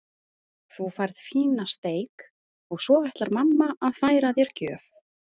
Þú færð fína steik og svo ætlar mamma að færa þér gjöf.